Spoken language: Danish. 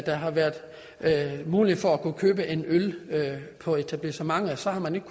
har været mulighed for at kunne købe en øl på etablissementet så har man ikke